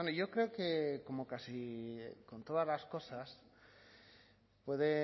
yo creo que como casi con todas las cosas puede